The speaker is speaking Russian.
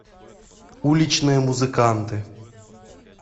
уличные музыканты